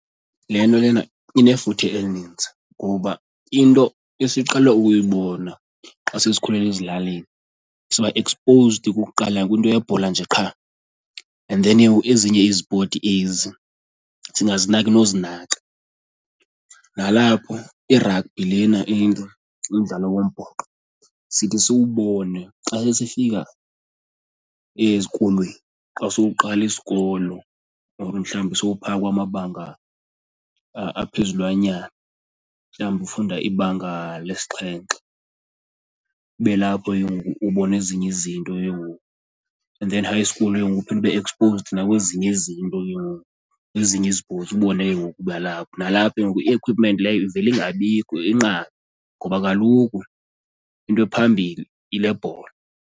Le nto lena inefuthe elininzi ngoba into esiqhele ukuyibona xa sesikhulele ezilalini siba exposed kukuqala kwinto yebhola nje qha and then ke ngoku ezinye izipoti ezi singazinaki nozinaka. Nalapho i-rugby lena into, umdlalo wombhoxo, sithi siwubone xa sesifika ezikolweni, xa sowuqala isikolo or mhlawumbi sowupha kwamabanga aphezulwanyana mhlawumbi ufunda ibanga lesixhenxe kube lapho ke ngoku ubona ezinye izinto ke ngoku. And then high school ke ngoku ube exposed kwezinye izinto ke ngoku, kwezinye izipotsi ubone ke ngoku uba . Nalapha ke ngoku i-equipment leyo ivele ingabikho inqabe ngoba kaloku into ephambili yile bhola.